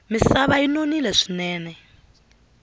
misava yi nonile swinene